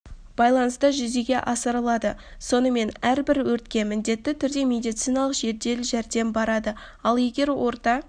байланыста жүзеге асырылады сонымен әрбір өртке міндетті түрде медициналық жедел жәрдем барады ал егер орта